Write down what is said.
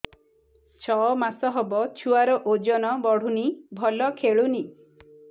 ଛଅ ମାସ ହବ ଛୁଆର ଓଜନ ବଢୁନି ଭଲ ଖେଳୁନି